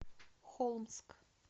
холмск